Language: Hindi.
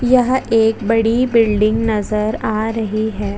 यहाँ एक बड़ी बिल्डिंग नजर आ रही हैं।